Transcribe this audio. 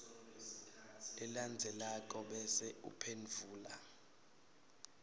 lelandzelako bese uphendvula